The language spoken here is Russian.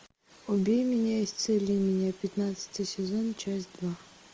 убей меня исцели меня пятнадцатый сезон часть два